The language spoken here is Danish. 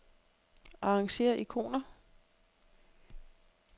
Arrangér ikoner.